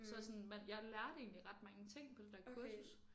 Så sådan man jeg lærte egentlig ret mange ting på det der kursus